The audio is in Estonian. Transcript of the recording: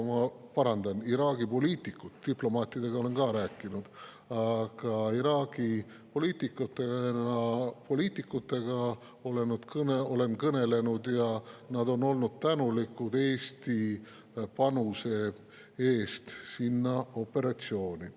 Ma parandan, Iraagi poliitikud – diplomaatidega olen ka rääkinud –, aga Iraagi poliitikud, kellega olen kõnelenud, on olnud tänulikud Eesti panuse eest sellesse operatsiooni.